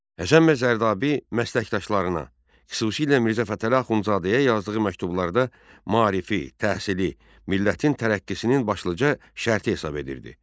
Həsən bəy Zərdabi məsləkdaşlarına, xüsusilə Mirzə Fətəli Axundzadəyə yazdığı məktublarda maarifi, təhsili, millətin tərəqqisinin başlıca şərti hesab edirdi.